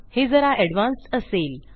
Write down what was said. हे जरा एडवान्स्ड असेल